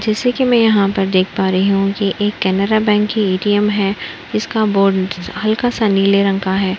जैसे कि मैं यहाँ पर देख पा रही हूं कि ये एक केनरा बैंक की ए.टी.एम है। इसका बोर्ड हल्का सा नीले रंग का है।